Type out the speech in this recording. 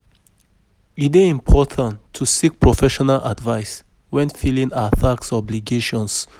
E dey important to seek professional advice when filing our tax obligations.